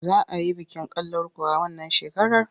Za a yi bikin kalankuwa wannan shekarar?